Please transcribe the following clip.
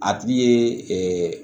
A tigi ye